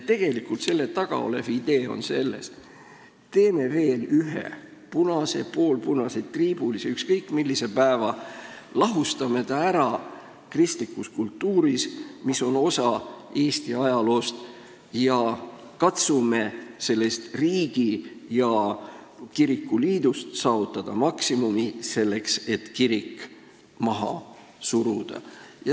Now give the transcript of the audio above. Tegelikult selle taga olev idee on selles: teeme veel ühe punase, poolpunase, triibulise või ükskõik millise päeva, lahustame ta ära kristlikus kultuuris, mis on osa Eesti ajaloost, ning katsume sellest riigi ja kiriku liidust saavutada maksimumi selleks, et kirik maha suruda.